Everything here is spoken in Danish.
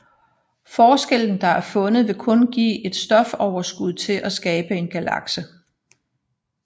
Forskellen der er fundet vil kun give et stofoverskud til at skabe en galakse